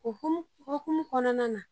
U hukumu kɔnɔna na